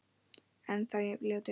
Ennþá jafn ljótur.